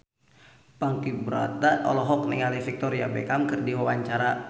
Ponky Brata olohok ningali Victoria Beckham keur diwawancara